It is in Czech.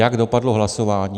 Jak dopadlo hlasování?